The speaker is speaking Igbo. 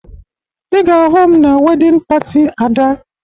Ị ga-ahụ m na wedịn pati Ada